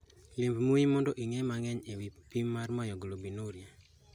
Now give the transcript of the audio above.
Lim mbui no mondo ing'e mang'eny e wi pim mar myoglobinuria